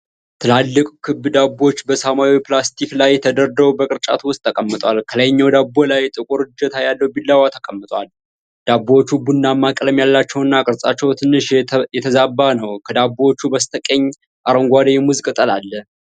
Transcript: ትላልቅ ክብ ዳቦዎች በሰማያዊ ፕላስቲክ ላይ ተደርድረው በቅርጫት ውስጥ ተቀምጠዋል። ከላይኛው ዳቦ ላይ ጥቁር እጀታ ያለው ቢላዋ ተቀምጧል። ዳቦዎቹ ቡናማ ቀለም ያላቸውና ቅርጻቸው ትንሽ የተዛባ ነው። ከዳቦዎቹ በስተቀኝ አረንጓዴ የሙዝ ቅጠሎች አሉ።